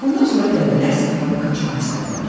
Bundan sonra dəvələr səhrada qaçmaq istədilər.